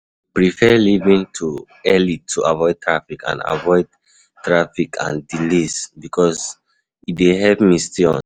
I dey prefer leaving early to avoid traffic and avoid traffic and delays because e dey help me stay on schedule.